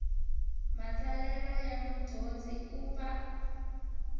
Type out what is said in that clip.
matsalelo ya mudyondzi u pfa